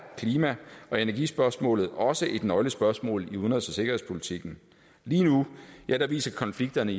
klima og energispørgsmålet også et nøglespørgsmål i udenrigs og sikkerhedspolitikken lige nu viser konflikterne